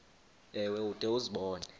ewe ude uzibone